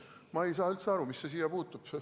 Ma ei saa üldse aru, mis see siia puutub.